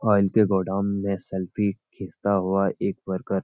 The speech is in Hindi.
ऑइल के गोडाउन में सेल्फ़ी खिचता हुआ एक वॉरकर --